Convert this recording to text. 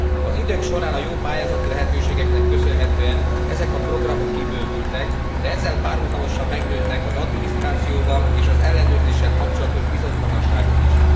Az idők során a jó pályázati lehetőségeknek köszönhetően ezek a programok kibővültek, de ezzel párhuzamosan megnőttek az adminisztrációval és az ellenőrzéssel kapcsolatos bizonytalanságok is.